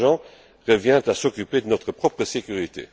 Danjean revient à s'occuper de notre propre sécurité.